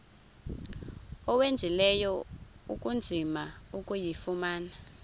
owenzileyo ukuzama ukuyifumana